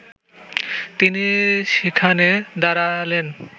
তিনি সেখানে দাঁড়ালেন